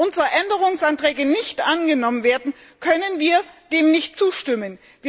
Wenn unsere Änderungsanträge nicht angenommen werden, können wir dem nicht zustimmen.